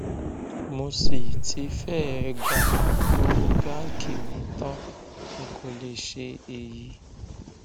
mo sì ti fẹẹ gba owó báǹkì mi tán n kò lè ṣe èyí